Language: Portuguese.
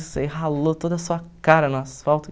Você ralou toda a sua cara no asfalto.